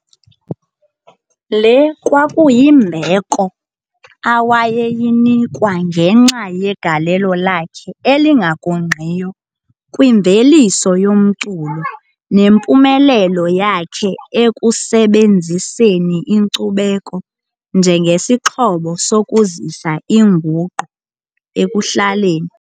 Le kwakuyimbeko awayeyinikwa ngenxa yegalelo lakhe elingagungqiyo kwimveliso yomculo nempumelelo yakhe ekusebenziseni inkcubeko njengesixhobo sokuzisa inguqu ekuhlaleni.